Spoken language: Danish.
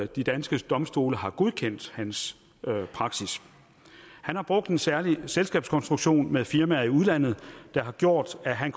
de danske domstole har godkendt hans praksis han har brugt en særlig selskabskonstruktion med firmaer i udlandet der har gjort at han